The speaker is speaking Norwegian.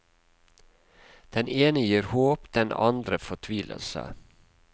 Den ene gir håp, den andre fortvilelse.